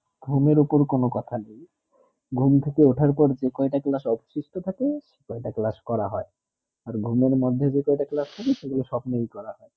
ঘুমের উপর কোনো কথা নেই ঘুম থেকে ওঠা পর যে কয়ে তা class অবশিষ্ট থাকে ঐই তা class করা হয়ে ওর ঘুমের মদদে যেটা class থাকে সেই গুলু সব নেই করাহয়ে